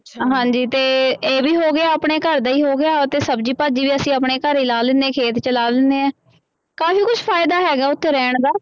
ਹਾਂਜੀ ਤੇ ਇਹ ਵੀ ਹੋ ਗਿਆ ਆਪਣੇ ਘਰ ਦਾ ਹੀ ਹੋ ਗਿਆ ਅਤੇ ਸਬਜ਼ੀ ਭਾਜੀ ਤੇ ਅਸੀਂ ਆਪਣੇ ਘਰੇ ਹੀ ਲਾ ਲੈਂਦੇ ਖੇਤ ਚ ਲਾ ਲੈਂਦੇ ਹੈ ਕਾਫ਼ੀ ਕੁਛ ਫ਼ਾਇਦਾ ਹੈਗਾ ਉੱਥੇ ਰਹਿਣ ਦਾ।